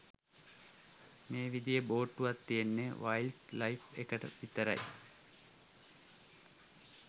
මේ විදිහේ බෝට්ටුවක් තියෙන්නේ වයිල්ඞ් ලයිෆ් එකට විතරයි.